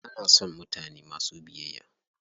Ana son mutane masu biyayya.